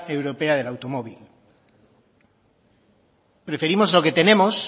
europea del automóvil preferimos lo que tenemos